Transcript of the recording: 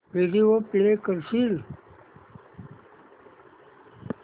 video play करशील